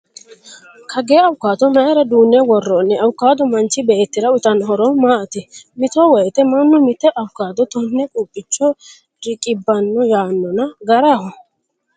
Kagee avocado mayiira duunne worroonni? Avocado manchi beetira uyiitanno horo maati? Mito woyiite mannu mitte avocado tonne quuphicho riqibbano yaannona garaho?